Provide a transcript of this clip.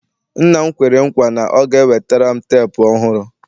nna m kwere nkwa na ọ ga-enwetara m teepu ọhụrụ